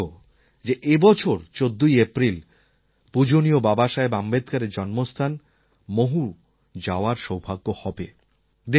আমার সৌভাগ্য যে এই বছর ১৪ই এপ্রিল পূজনীয় বাবাসাহেব আম্বেদকরএর জন্মস্থান মহু যাওয়ার সৌভাগ্য হবে